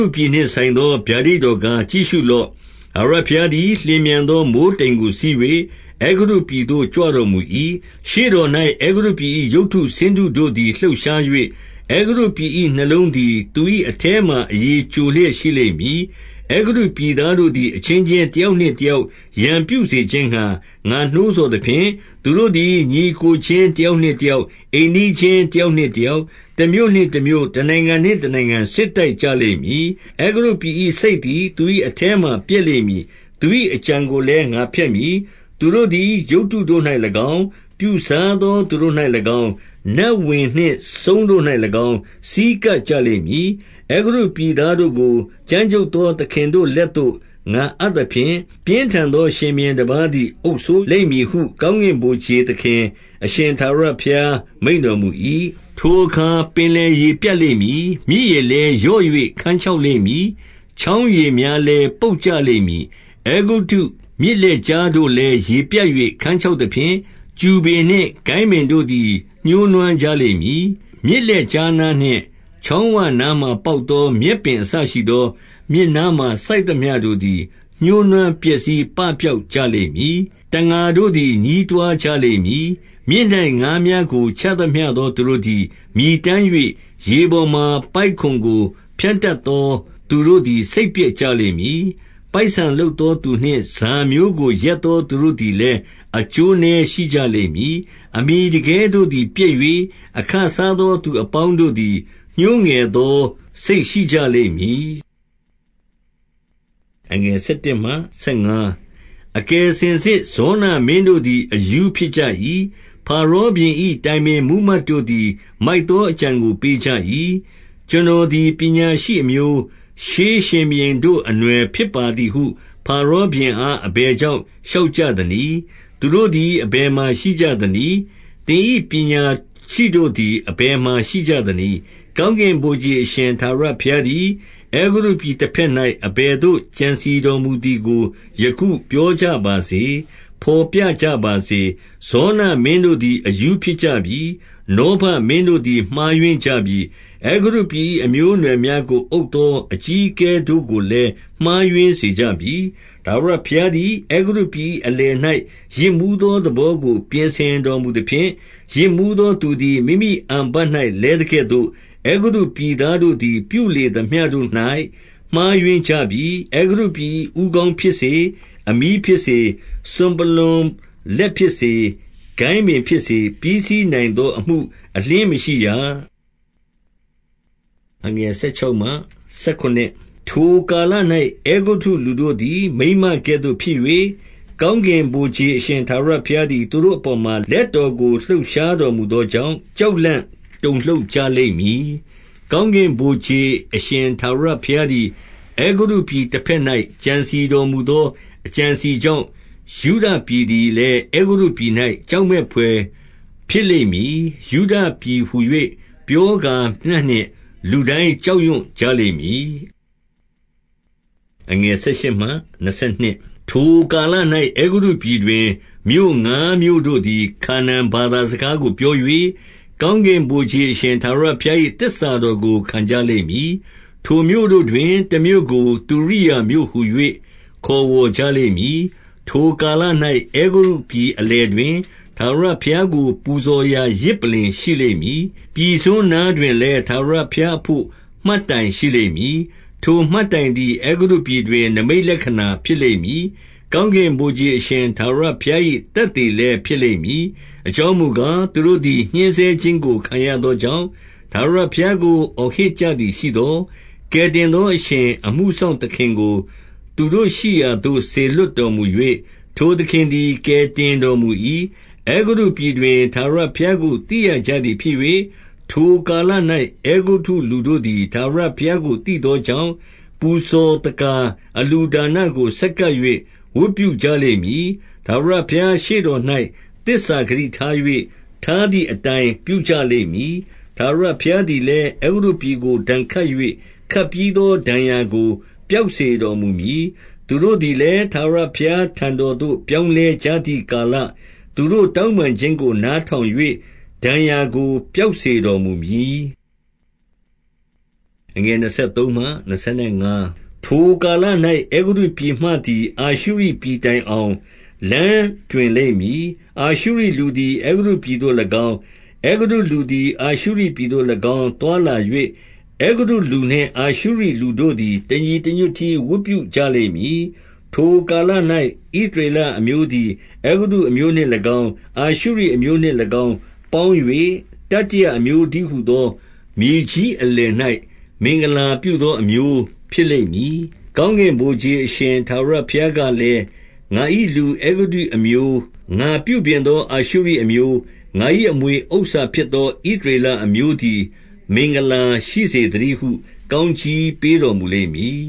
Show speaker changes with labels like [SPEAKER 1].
[SPEAKER 1] ုပြည် နှင့် ဆိုင်သော ဗျာဒိတ်တော်ကား၊ ကြည့်ရှုလော့။ ထာဝရဘုရားသည် လျင်မြန်သော မိုဃ်း တိမ်ကိုစီး၍ အဲဂုတ္တုပြည်သို့ ကြွတော်မူ၏။ ရှေ့တော်၌ အဲဂုတ္တုပြည်၏ ရုပ်တု ဆင်းတုတို့သည် လှုပ်ရှား၍၊ အဲဂုတ္တုပြည်၏ နှလုံးသည် သူ၏အထဲမှာ အရည် ကျိုလျက် ရှိလိမ့်မည်။ 2 အဲဂုတ္တုပြည်သားတို့သည် အချင်းချင်း တ ယောက်နှင့် တယောက် ရန်ပြုစေခြင်းငှါ ငါနှိုးဆော်သ ဖြင့်၊ သူတို့သည် ညီအစ်ကိုချင်း တယောက်နှင့် တ ယောက်၊ အိမ်နီးချင်း တယောက်နှင့်တယောက်၊တမြို့ နှင့် တမြို့၊ တနိုင်ငံနှင့် တနိုင်ငံ စစ်တိုက်ကြလိမ့်မည်။ 3 အဲဂုတ္တုပြည်၏ စိတ်သည် သူ၏အထဲမှာ ပျက် လိမ့်မည်။ သူ၏အကြံကိုလည်း ငါဖျက်မည်။ သူတို့သည် ရုပ်တုတို့၌၎င်း၊ ပြုစားသောသူတို့၌၎င်း၊ နတ်ဝင်နှင့် စုန်း တို့၌၎င်း ဆည်းကပ်ကြလိမ့်မည်။ 4 အဲဂုတ္တုပြည်သားတို့ကို ကြမ်းကြုတ်သော သခင်တို့ လက်သို့ ငါအပ်သဖြင့်၊ ပြင်းထန်သော ရှင်ဘု ရင်တပါးသည် အုပ်စိုးလိမ့်မည်ဟု ကောင်းကင်ဗိုလ်ခြေ သခင် အရှင်ထာဝရဘုရား မိန့်တော်မူ၏။ 5 ထိုအခါပင် လယ်ရေပြတ် လိမ့်မည်။ မြစ်ရေ လည်းလျော့၍ ခန်းခြောက် လိမ့်မည်။ 6 ချောင်းရေများလည်း ပုပ်ကြလိမ့်မည်။ အဲဂုတ္တုမြစ်လက်ကြားတို့လည်း ရေပြတ်၍ ခန်းခြောက်သဖြင့်၊ ကျူပင်နှင့် ကိုင်းပင်တို့သည် ညှိုးနွမ်းကြလိမ့်မည်။ 7 မြစ်လက်ကြားနားနှင့် ချောင်းဝနားမှာ ပေါက် သော မြက်ပင်အစရှိသော၊ မြစ်နားမှာ စိုက်သမျှတို့သည် ညှိုးနွမ်းပျက်စီးပပျောက်ကြလိမ့်မည်။ 8 တံငါတို့သည် ညည်းတွားကြလိမ့်မည်။ မြစ်၌ ငါးမျှားကို ချသမျှသောသူတို့သည် မြည်တမ်း၍ ရေပေါ် မှာ ပိုက်ကွန်ကို ဖြန့်တတ်သော သူတို့သည် စိတ်ပျက် ကြလိမ့်မည်။ 9 ပိုက်ဆန်လုပ်သောသူနှင့် ဈာမျိုးကို ရက်သော သူတို့သည်လည်း အကျိုးနည်းရှိကြလိမ့်မည်။ 10 အမှီတကဲတို့သည် ပျက်၍၊ အခစားသောသူအ ပေါင်းတို့သည် ညှိုးငယ်သောစိတ် ရှိကြလိမ့်မည်။ 11 အကယ်စင်စစ် ဇောနမင်းတို့သည် အရူးဖြစ် ကြ၏။ ဖာရောဘုရင်၏ တိုင်ပင်မှူးမတ်တို့သည် မိုက် သောအကြံကိုပေးကြ၏။ ကျွန်တော်သည် ပညာရှိအမျိုး၊ ရှေးဘုရင်တို့ အနွှယ်ဖြစ်ပါသည်ဟု ဖာရောဘုရင်အား အဘယ်ကြောင့် လျှောက်ကြသနည်း။ 12 သူတို့သည် အဘယ်မှာ ရှိကြသနည်း။ သင်၏ ပညာရှိတို့သည် အဘယ်မှာရှိကြသနည်း။ ကောင်းကင် ဗိုလ်ခြေအရှင် ထာဝရဘုရားသည်၊ အဲဂုတ္တုပြည် တဘက် ၌ အဘယ်သို့ ကြံစည်တော်မူသည်ကို ယခုပြောကြပါစေ။ ဘော်ပြကြပါစေ။ 13 ဇောနမင်းတို့သည် အရူးဖြစ်ကြပြီ။ နောဗမင်း တို့သည် မှားယွင်းကြပြီ။ အဲဂုတ္တုပြည်၏ အမျိုးအနွယ် များကိုအုပ်သော အကြီးအကဲ တို့ကိုလည်း မှားယွင်းစေ ကြပြီ။ 14 ထာဝရဘုရားသည် အဲဂုတ္တုပြည်၏ အလယ်၌ ယစ်မူးသော သဘောကို ပြင်ဆင်တော်မူသဖြင့်၊ ယစ်မူး သောသူသည် မိမိအန်ဖတ်၌ လဲသကဲ့သို့၊ အဲဂုတ္တုပြည် သားတို့သည် ပြုလေသမျှတို့၌ မှားယွင်းကြပြီ။ 15 အဲဂုတ္တုပြည်၏ ဦးခေါင်းဖြစ်စေ၊ အမြီးဖြစ်စေ၊ စွန်ပလွံလက်ဖြစ်စေ၊ ကိုင်းပင်ဖြစ်စေ၊ ပြီးစီးနိုင်သော အမှုအလျှင်းမရှိရ။ 16 ထိုကာလ၌ အဲဂုတ္တု လူတို့သည် မိန်းမကဲ့သို့ ဖြစ်၍၊ ကောင်းကင်ဗိုလ်ခြေ အရှင် ထာဝရဘုရားသည် သူတို့အ ပေါ်မှာ လက်တော်ကို လှုပ်ရှားတော်မူသောကြောင့်၊ ကြောက်လန့် တုန်လှုပ်ကြလိမ့်မည်။ 17 ကောင်းကင်ဗိုလ်ခြေအရှင် ထာဝရဘုရားသည် အဲဂုတ္တုပြည် တဘက်၌ ကြံစည် တော်မူသော အကြံအ စည်ကြောင့်၊ ယုဒပြည်သည်လည်း အဲဂုတ္တုပြည်၌ ကြောက်မက်ဘွယ်ဖြစ်လိမ့်မည်။ ယုဒပြည်ဟူ၍ ပြော ကာမျှ နှင့် လူတိုင်း ကြောက်ရွှံ့ကြလိမ့်မည်။ 18 ထိုကာလ၌ အဲဂုတ္တုပြည်တွင်၊ မြို့ငါးမြို့တို့သည် ခါနာန်ဘာသာစကားကို ပြော၍၊ ကောင်းကင် ဗိုလ်ခြေ အရှင် ထာဝရဘုရား၏ သစ္စာတော်ကို ခံကြလိမ့်မည်။ ထိုမြို့တို့တွင်၊ တမြို့ကို သူရိယာမြို့ဟူ၍ ခေါ်ဝေါ်ကြ လိမ့်မည်။ 19 ထိုကာလ၌ အဲဂုတ္တုပြည် အလယ်တွင်၊ ထာဝရ ဘုရားကို ပူဇော်ရာယဇ်ပလ္လင် ရှိလိမ့်မည်။ ပြည်စွန်းနား တွင်လည်း ထာဝရဘုရားအဘို့ မှတ်တိုင်ရှိလိမ့်မည်။ 20 ထိုမှတ်တိုင်သည် အဲဂုတ္တုပြည်တွင် နိမိတ်လက္ခ ဏာဖြစ်လိမ့်မည်။ ကောင်းကင်ဗိုလ်ခြေ အရှင်ထာဝရ ဘုရား၏ သက်သေလည်းဖြစ်လိမ့်မည်။ အကြောင်းမူ ကား၊ သူတို့သည် ညှဉ်းဆဲခြင်းကို ခံရသောကြောင့်၊ ထာဝရဘုရားကို အော်ဟစ်ကြသည်ရှိသော်၊ ကယ်တင် သောအရှင်၊ အမှုစောင့်သခင်ကို သူတို့ရှိရာသို့ စေလွှတ် တော်မူ၍၊ ထိုသခင်သည် ကယ်တင်တော်မူ၏။ 21 အဲဂုတ္တုပြည်တွင် ထာဝရဘုရားကို သိရကြ သည်ဖြစ်၍ ထိုကာလ၌ အဲဂုတ္တုလူတို့သည် ထာဝရဘုရား ကို သိသောကြောင့်၊ ပူဇော်သက္ကာ အလှုဒါနကို ဆက်ကပ် ၍ ဝတ်ပြုကြလိမ့်မည်။ ထာဝရဘုရား ရှေ့တော်၌ သစ္စာ ဂတိထား၍၊ ထားသည့်အတိုင်း ပြုကြလိမ့်မည်။ 22 ထာဝရဘုရားသည်လည်း အဲဂုတ္တုပြည်ကို ဒဏ် ခတ်၍၊ ခတ်ပြီးသော ဒဏ်ရာကို ပျောက်စေတော်မူမည်။ သူတို့သည်လည်း၊ ထာဝရဘုရားထံတော်သို့ ပြောင်းလဲကြ သည့်ကာလ၊ သူတို့တောင်းပန်ခြင်းကို နားထောင်၍ ဒဏ်ရာကို ပျောက်စေတော်မူမည်။ 23 ထိုကာလ၌ အဲဂုတ္တုပြည်မှသည် အာရှုရိပြည် တိုင်အောင်၊ လမ်းတွင်လိမ့်မည်။ အာရှုရိလူသည် အဲဂုတ္တုပြည်သို့၎င်း၊ အဲဂုတ္တုလူသည်၊ အာရှုရိပြည်သို့၎င်း သွားလာ၍ အဲဂုတ္တုလူနှင့် အာရှုရိလူတို့သည် တညီတ ညွတ်တည်း ဝတ်ပြုကြလိမ့်မည်။ 24 ထိုကာလ၌ ဣသရေလအမျိုးသည် အဲဂုတ္တုအ မျိုးနှင့်၎င်း၊ အာရှုရိအမျိုးနှင့် ၎င်းပေါင်း၍၊ တတိယအ မျိုးတည်းဟူသော မြေကြီးအလယ်၌ မင်္ဂလာပြုသော အ မျိုးဖြစ်လိမ့်မည်။ 25 ကောင်းကင်ဗိုလ်ခြေအရှင် ထာဝရဘုရားက လည်း၊ ငါ၏ လူအဲဂုတ္တုအမျိုး၊ ငါပြုပြင်သော အာရှုရိ အမျိုး၊ငါ၏ အမွေဥစ္စာဖြစ်သော ဣသရေလအ မျိုးသည် မင်္ဂလာရှိစေသတည်းဟု ကောင်းကြီးပေး တော် မူလိမ့် မည်